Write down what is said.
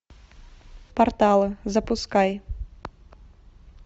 порталы запускай